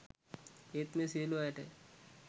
ඒත් මේ සියලු අයට